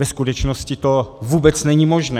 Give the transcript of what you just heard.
Ve skutečnosti to vůbec není možné.